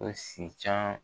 Ko si can